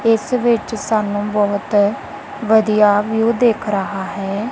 ਇਸ ਵਿੱਚ ਸਾਨੂੰ ਬਹੁਤ ਵਧੀਆ ਵਿਊ ਦਿਖ ਰਹਾ ਹੈ।